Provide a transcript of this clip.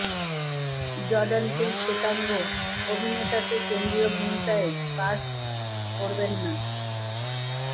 Jordan Peele শ্বেতাঙ্গ অভিনেতাকে কেন্দ্রীয় ভূমিকায় কাস্ট করবেন না